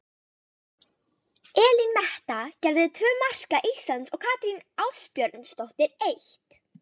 Elín Metta gerði tvö marka Íslands og Katrín Ásbjörnsdóttir eitt.